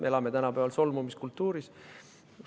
Me elame tänapäeval solvumiskultuuris.